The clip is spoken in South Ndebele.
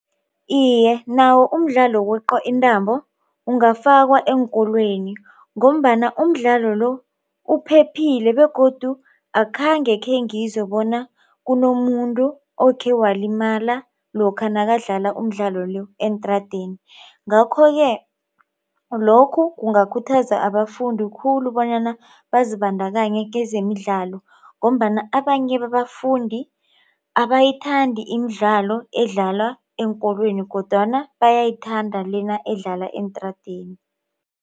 Iye, nawo mdlalo wokweqa intambo ungafakwa eenkolweni ngombana umdlalo lo uphephile begodu akhange khengizwe bona kunomuntu okhewalimala lokha nakadlala umdlalo le eentradeni. Ngakho-ke lokhu kungakhuthaza abafundi khulu bonyana bazibandakanye kezemidlalo ngombana abanye babafundi abayithandi imidlalo edlalwa eenkolweni kodwana bayayithanda lena edlala eentradeni.